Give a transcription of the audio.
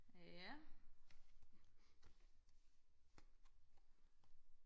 ja